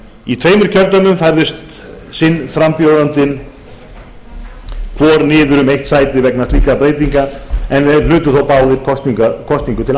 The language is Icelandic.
í tveimur kjördæmum færðist sinn frambjóðandinn hvor niður um eitt sæti vegna slíkra breytinga en þeir hlutu þó báðir kosningu til